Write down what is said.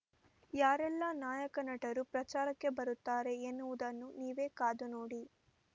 ಯಾರೆಲ್ಲಾ ನಾಯಕ ನಟರು ಪ್ರಚಾರಕ್ಕೆ ಬರುತ್ತಾರೆ ಎನ್ನುವುದನ್ನು ನೀವೇ ಕಾದುನೋಡಿ